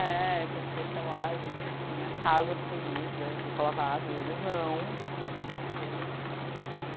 É, porque, sei lá, a gente tinha casa, comida, roupa lavada, e eles não, eles estavam na rua.